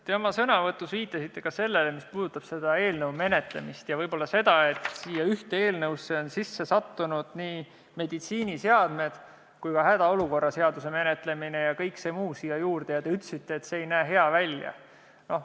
Te oma sõnavõtus viitasite sellele – mis puudutab kõnealuse eelnõu menetlemist ja asjaolu, et ühte eelnõusse on sisse sattunud nii meditsiiniseadmete seaduse kui ka hädaolukorra seaduse menetlemine ja kõik muu siia juurde –, et see ei näe hea välja.